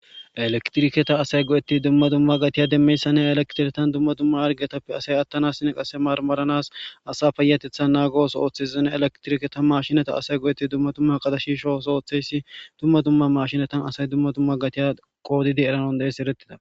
Ellekitirriketa asay go'ettidi dumma dumma gatte demiyayssanne ha elekitiketan dumma dumma harqetappe asa ashanasina qasse maramaranas payateththa nagos oththizs ellekitirike asay ge'ti dumma dumma shisho oththo dumma dumma shisho oththo oththiyaysi mashinettan dumma dumma gaatiya qoddidi eretanas dandidayssi erettida.